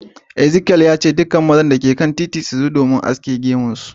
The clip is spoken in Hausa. Ezekiel ya ce"Dukan mazan da ke a titin shi su zo haskin gemun su."